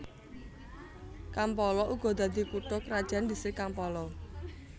Kampala uga dadi kutha krajan distrik Kampala